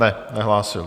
Ne, nehlásil.